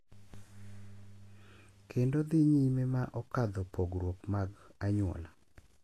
Kendo dhi nyime ma okadho pogruok mag anyuola.